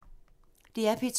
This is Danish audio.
DR P2